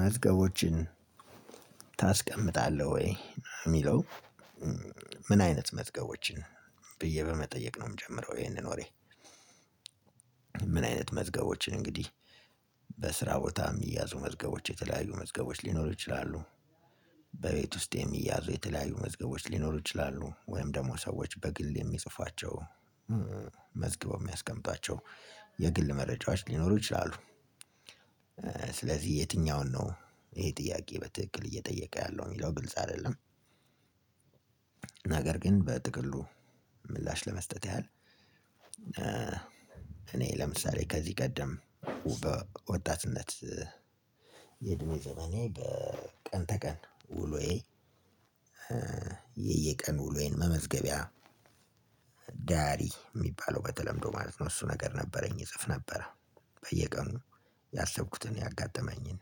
መዝገቦችን ታስቀምጣለህ ወይ የሚለው ምን አይነት መዝገቦችን ብዬ በመጠየቅ ነው የምጀምረው ይሄንን ወሬ። ምን አይነት መዝገቦችን እንግዲህ በስራ ቦታ የሚያዙ መዝገቦች የተለያዩ መዝገቦች ሊኖሩ ይችላሉ። በቤት ውስጥ የሚያዙ የተለያዩ መዝገቦች ሊኖሩ ይችላሉ። ወይም ደግሞ ሰዎች በግል የሚጽፏቸው መዝገቦች የሚያስቀምጧቸው የግል መረጃዎች ሊኖሩ ይችላሉ። ስለዚህ የትኛውን ነው ይሄ ጥያቄ በትክክል እየጠየቀ ያለው የሚለው ግልጽ አይደለም። ነገር ግን በጥቅሉ ምላሽ ለመስጠት ያህል። እኔ ለምሳሌ ከዚህ ቀደም በወጣትነት የእድሜ ዘመኔ ቀን ተቀን ውሎዬ የየቀኑ ውሎዬን መመዝገቢያ ዳያሪ የሚባለው በተለምዶ ማለት ነው። እሱ ነገር ነበረኝ እጽፍ ነበረ በየቀኑ ያሰብኩትን ያጋጠመኝን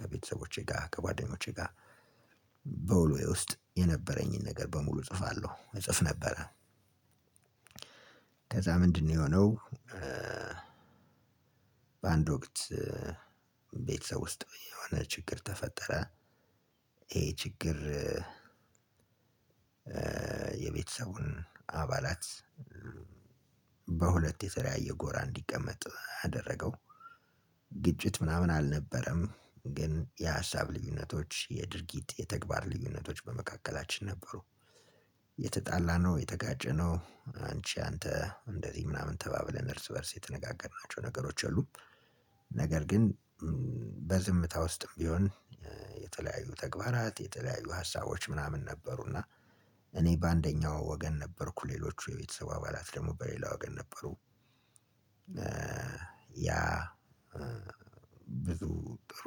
ከቤተሰቦቼ ጋር ከጓደኞቼ ጋር በውሎዬ ውስጥ የነበረኝን ነገር በሙሉ እጽፋለሁ እጽፍ ነበረ። ከዛ ምንድነው የሆነው? በአንድ ወቅት ቤተሰብ ውስጥ የሆነ ችግር ተፈጠረ። ይሄ ችግር የቤተሰቡን አባላት በሁለት የተለያየ ጎራ እንዲቀመጥ አደረገው። ግጭት ምናምን አልነበረም ግን የሀሳብ ልዩነቶች የድርጊት የተግባር ልዩነቶች በመካከላችን ነበሩ። የተጣላነው የተጋጨነው አንቺ አንተ እንደዚ ምናምን ተባብለን እርስ በእርስ የተነጋገርናቸው የሉም። ነገር ግን በዝምታ ውስጥም ቢሆን የተለያዩ ተግባራት የተለያዩ ሀሳቦች ምናምን ነበሩና እኔ በአንደኛው ወገን ነበርኩ ሌሎቹ የቤተሰብ አባላት ደግሞ በሌላ ወገን ነበሩ። ያ ብዙ ጥሩ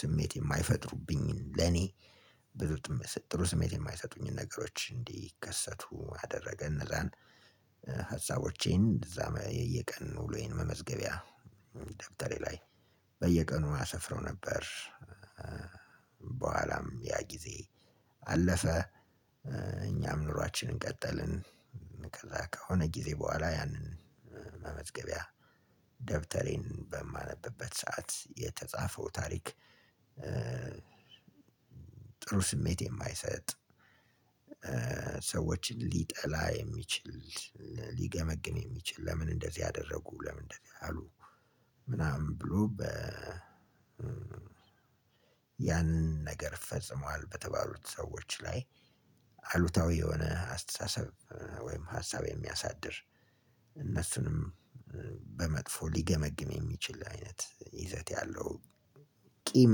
ስሜት የማይፈጥሩብኝን ለኔ ብሎ ጥሩ ስሜት የማይሰጡኝን ነገሮች እንዲከሰቱ አደረገን እነዛን ሀሳቦቼን እንደዛ የየቀን ውሎዬን መመዝገቢያ ደብተሬ ላይ በየቀኑ አሰፍረው ነበር። በኋላም ያ ጊዜ አለፈ እኛም ኑሯችንን ቀጠልን ከዛ ከሆነ ጊዜ በኋላ ያንን መመዝገቢያ ደብተሬን በማነብበት ሰዓት የተጻፈው ታሪክ። ጥሩ ስሜት የማይሰጥ ሰዎችን ሊጠላ የሚችል ሊገመግም የሚችል ለምን እንደዚህ አደረጉ ለምን እንደዚህ አሉ? ምናምን ብሎ በ ያንን ነገር ፈጽሟል በተባሉት ሰዎች ላይ አሉታዊ የሆነ አስተሳሰብ ወይም ሀሳብ የሚያሳድር እነሱንም በመጥፎ ሊገመግም የሚችል አይነት ይዘት ያለው። ቂም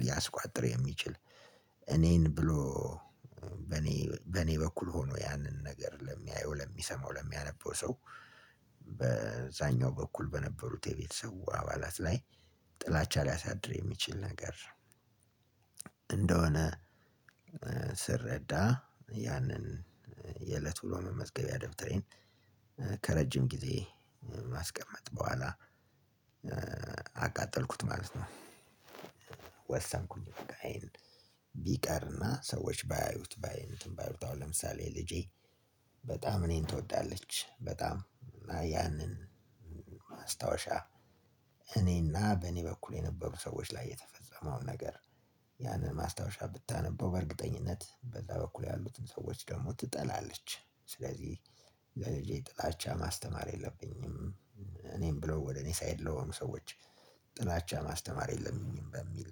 ሊያስቋጥር የሚችል እኔን ብሎ እኔ በኔ በኔ በኩል ሆኖ ያንን ነገር ለሚያየው ለሚሰማው ለሚያነበው ሰው በዛኛው በኩል በነበሩት የቤተሰቡ አባላት ላይ ጥላቻ ሊያሳድር የሚችል ነገር። እንደሆነ ስረዳ ያንን የእለት ብሎ መመዝገቢያ ደብተሬን ከረጅም ጊዜ ማስቀመጥ በኋላ አቃጠልኩት ማለት ነው። ወሰንኩኝ በቃ የሄን ቢቀርና ሰዎች ባያዩት ባይ ነኝ። አሁን ለምሳሌ ልጄ በጣም እኔን ትወዳለች በጣም እና ያንን ማስታወሻ እኔና በእኔ በኩል የነበሩ ሰዎች ላይ የተፈጸመውን ነገር ያንን ማስታወሻ ብታነበው በእርግጠኝነት በዛ በኩል ያሉትን ሰዎች ደግሞ ትጠላለች። ስለዚህ ለልጄ ጥላቻ ማስተማር የለብኝም። እኔም ብሎ ወደ እኔ ሳይድ ለሆኑ ሰዎች ጥላቻ ማስተማር የለብኝም በሚል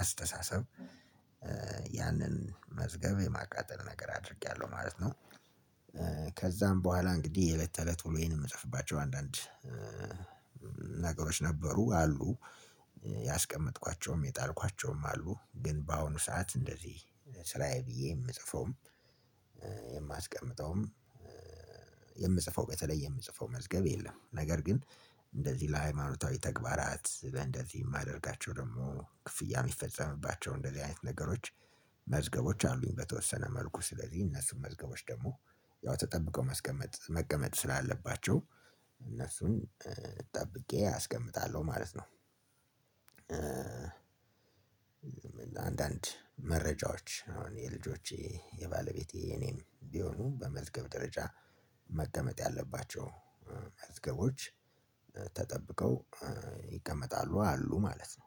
አስተሳሰብ ያንን መዝገብ የማቃጠል ነገር አድርጌያለሁ ማለት ነው። ከዛ በኋላ እንግዲህ የተለት ተለት ውሎዬን የምጽፍባቸው አንዳንድ ነገሮች ነበሩ አሉ። ያስቀመጥኳቸውም የጣልኳቸውም አሉ ግን በአሁኑ ሰዓት እንደዚህ ስራዬ ብዬ የምጽፈውም የማስቀምጠውም የምጽፈው በተለይ የምጽፈው መዝገብ የለም። ነገር ግን እንደዚህ ለሃይማኖታዊ ተግባራት እንደዚህ የማደርጋቸው ደግሞ ክፍያ የሚፈጸምባቸው እንደዚህ አይነት ነገሮች መዝገቦች አሉኝ። በተወሰነ መልኩ ስለዚህ እነሱን መዝገቦች ደግሞ ያው ተጠብቀው ማስቀመጥ መቀመጥ ስላለባቸው እነሱን ጠብቄ አስቀምጣለሁ ማለት ነው። አንዳንድ መረጃዎች አሁን የልጆቼ የባለቤቴ እኔም ቢሆኑ በመዝገብ ደረጃ መቀመጥ ያለባቸው መዝገቦች ተጠብቀው ይቀመጣሉ አሉ ማለት ነው።